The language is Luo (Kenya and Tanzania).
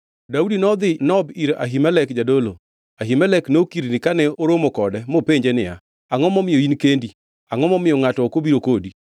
Daudi nodhi Nob ir Ahimelek jadolo. Ahimelek nokirni kane oromo kode mopenjo niya, “Angʼo momiyo in kendi? Angʼo momiyo ngʼato ok obiro kodi?”